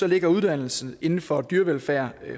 ligger uddannelse inden for dyrevelfærd